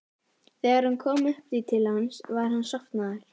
Þegar hún kom upp í til hans var hann sofnaður.